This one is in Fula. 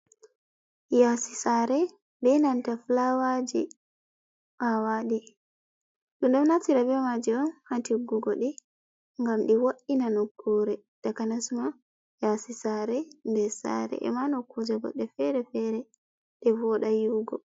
Yaasi saare, be nanta filawaji a waɗi, ɗum ɗo naftira be maaji on haa tiggugo ɗi ngam ɗi wa’ina nokkuure, takanas ma yaasi saare, ndes saare e ma nokkuje goɗɗe fere fere ɗe vooɗa yi’ugo.